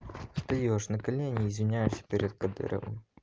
встаёшь на колени извиняешься перед кадыровым